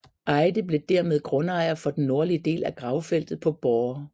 Eyde blev dermed grundejer for den nordlige del af gravfeltet på Borre